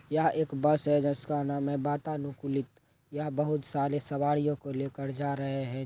यह एक बस है जिसका नाम है बातानुकूलित यह बहुत सारे सवारियों को लेकर जा रहे है।